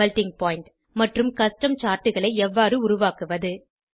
melting point மற்றும் custom Chartகளை எவ்வாறு உருவாக்குவது